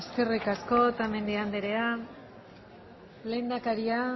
eskerrik asko otamendi andrea lehendakaria